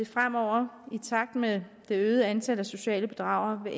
fremover i takt med det øgede antal af sociale bedragere